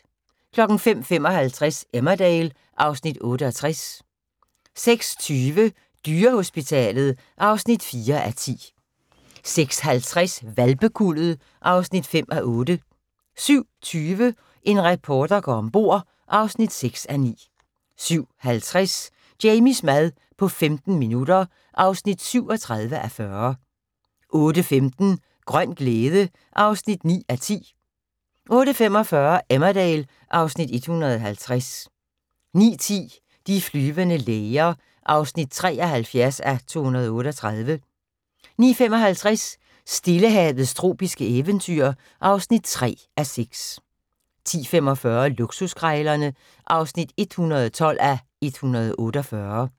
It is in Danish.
05:55: Emmerdale (Afs. 68) 06:20: Dyrehospitalet (4:10) 06:50: Hvalpekuldet (5:8) 07:20: En reporter går om bord (6:9) 07:50: Jamies mad på 15 minutter (37:40) 08:15: Grøn glæde (9:10) 08:45: Emmerdale (Afs. 150) 09:10: De flyvende læger (73:238) 09:55: Stillehavets tropiske eventyr (3:6) 10:45: Luksuskrejlerne (112:148)